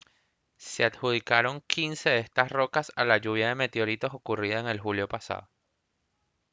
se adjudicaron quince de estas rocas a la lluvia de meteoritos ocurrida en julio pasado